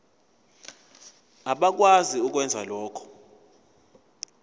abakwazi ukwenza lokhu